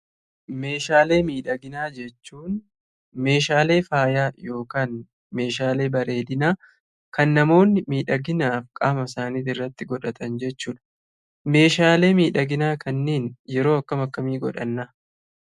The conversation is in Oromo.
Meeshaalee miidhaginaa jechuun meeshaalee faayaa yookiin meeshaalee bareedinaa kan namoonni miidhaginaaf qaama isaanii irratti godhatan jechuudha. Meeshaalee miidhaginaa kanneen yeroo akkam akkamii godhannaa?